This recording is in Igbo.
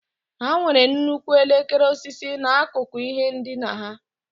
Ha nwere nnukwu elekere osisi n'akụkụ ihe ndina ha.